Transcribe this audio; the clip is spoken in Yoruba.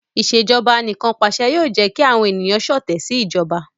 Ìṣèjọba Anìkanpàṣẹ yoo jẹ ki awọn eniyan ṣọtẹ si ijọba